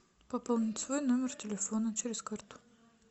пополнить свой номер телефона через карту